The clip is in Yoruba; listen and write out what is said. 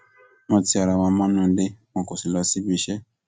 wọn ti ara wọn mọnú ilé wọn kó lọ síbiiṣẹ